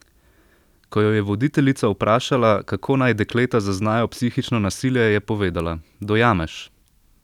Ko jo je voditeljica vprašala, kako naj dekleta zaznajo psihično nasilje, je povedala: "Dojameš.